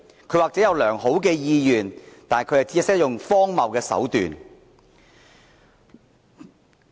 他或許有良好的意願，但卻只懂得採用荒謬的手段。